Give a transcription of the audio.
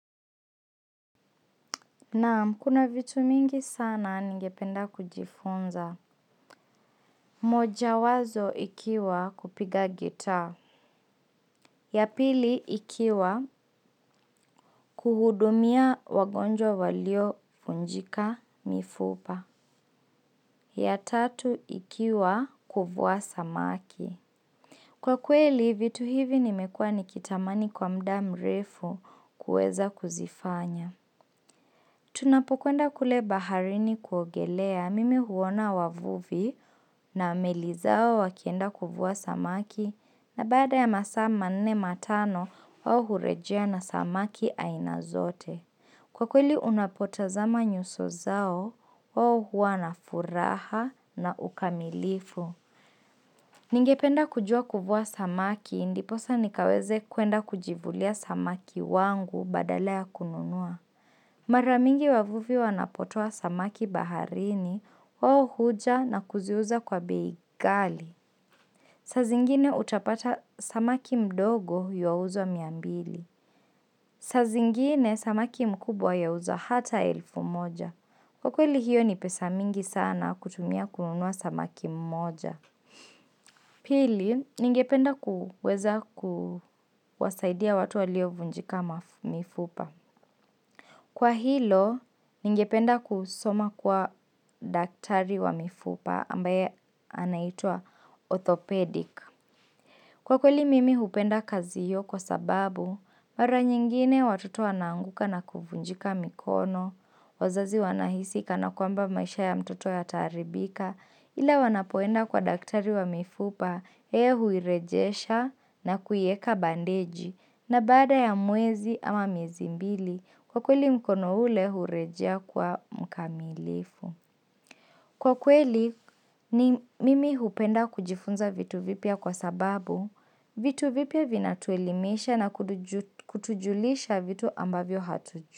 Naam, kuna vitu mingi sana ningependa kujifunza. Mojawazo ikiwa kupiga gitaa. Ya pili ikiwa kuhudumia wagonjwa waliofunjika mifupa. Ya tatu ikiwa kuvua samaki. Kwa kweli, vitu hivi nimekua nikitamani kwa muda mrefu kuweza kuzifanya. Tunapokwenda kule baharini kuogelea mimi huona wavuvi na meli zao wakienda kuvua samaki na baada ya masaa manene matano wao hurejea na samaki aina zote. Kwa kweli unapotazama nyuso zao wao huwa na furaha na ukamilifu. Ningependa kujua kuvua samaki ndiposa nikaweze kuenda kujivulia samaki wangu badala ya kununua. Mara mingi wavuvi wanapotoa samaki baharini, wao huja na kuziuza kwa bei kali. Saa zingine utapata samaki mdogo yuwauzwa miambili. Saa zingine samaki mkubwa yawuzwa hata elfu moja. Kwa kweli hiyo ni pesa mingi sana kutumia kununua samaki mmoja. Pili, ningependa kuweza kuwasaidia watu waliovunjika mifupa. Kwa hilo, ningependa kusoma kuwa daktari wa mifupa ambaye anaitwaa orthopedic. Kwa kweli mimi hupenda kazi hiyo kwa sababu, mara nyingine watoto wanaanguka na kuvunjika mikono, wazazi wanahisi kana kwamba maisha ya mtoto yataharibika, ila wanapoenda kwa daktari wa mifupa, yeye huirejesha na kuieka bandeji, na baada ya mwezi ama miezi mbili, kwa kweli mkono ule hurejea kuwa mkamilifu. Kwa kweli, mimi hupenda kujifunza vitu vipya kwa sababu vitu vipya vinatuelimisha na kutujulisha vitu ambavyo hatujui.